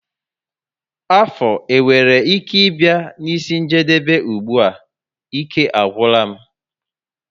Afọ enwere ike i bia n'isi njedebe ùgbúà? ike agwula m